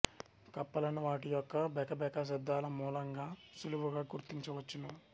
కప్పలను వాటి యొక్క బెకబెక శబ్దాల మూలంగా సుళువుగా గుర్తించవచ్చును